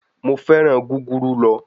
Mo féràn gúgúrú lọ.